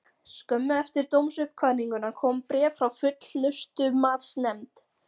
Skömmu eftir dómsuppkvaðninguna kom bréf frá Fullnustumatsnefnd.